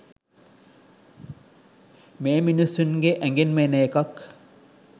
මේ මිනිස්සුන්ගේ ඇගෙන්ම එන එකක්